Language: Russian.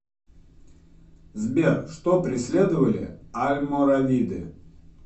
сбер что преследовали альморавиды